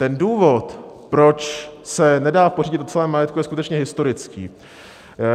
Ten důvod, proč se nedá pořídit o celém majetku, je skutečně historický.